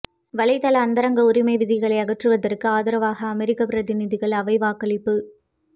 வலைதள அந்தரங்க உரிமை விதிகளை அகற்றுவதற்கு ஆதரவாக அமெரிக்க பிரதிநிதிகள் அவை வாக்களிப்பு